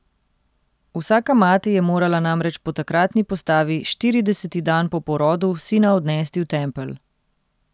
Vsaka mati je morala namreč po takratni postavi štirideseti dan po porodu sina odnesti v tempelj.